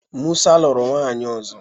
Musa lụrụ nwaanyị ọzọ.